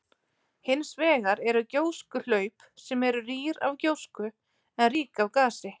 Hins vegar eru gjóskuhlaup sem eru rýr af gjósku en rík af gasi.